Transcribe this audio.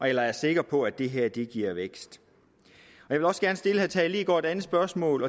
eller er sikker på at det her giver vækst jeg vil også gerne stille herre tage leegaard et andet spørgsmål